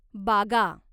बागा